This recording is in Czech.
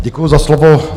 Děkuji za slovo.